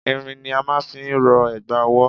Irin ni a máà ń fi rọ ẹ̀gbà ọwọ́.